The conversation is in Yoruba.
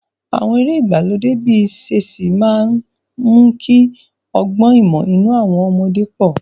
Àwọn eré ìgbàlódé bíi ṣẹ́ẹ̀sì máa ń mú kí ọgbọ́n ìmọ̀ nínú àwọn ọmọdé pọ̀.